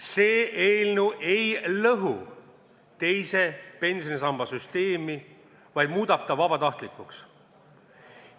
See eelnõu ei lõhu teise pensionisamba süsteemi, vaid muudab selle vabatahtlikuks.